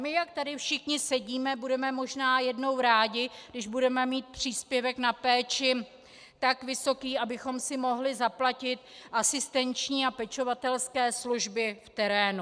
My, jak tady všichni sedíme, budeme možná jednou rádi, když budeme mít příspěvek na péči tak vysoký, abychom si mohli zaplatit asistenční a pečovatelské služby v terénu.